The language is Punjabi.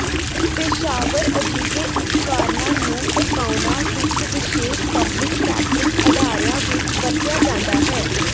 ਪੇਸ਼ਾਵਰ ਅਜਿਹੇ ਉਪਕਰਣਾਂ ਨੂੰ ਪਕਾਉਣਾ ਵਿਚ ਵਿਸ਼ੇਸ਼ ਪਬਲਿਕ ਕੈਟਰਿੰਗ ਅਦਾਰਿਆਂ ਵਿਚ ਵਰਤਿਆ ਜਾਂਦਾ ਹੈ